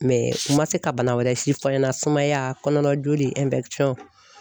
u ma se ka bana wɛrɛ si fɔ an ɲɛna sumaya kɔnɔna joli